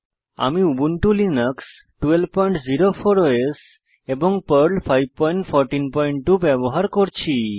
আমি Ubuntu Linux 1204 OS এবং Perl 5142 ব্যবহার করছি